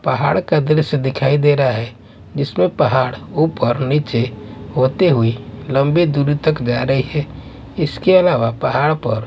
पहाड़ का दृश्य दिखाई दे रहा है जिसमें पहाड़ ऊपर नीचे होते हुए लंबी दूरी तक जा रही है इसके अलावा पहाड़ पर--